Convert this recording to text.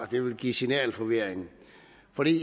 det ville give signalforvirring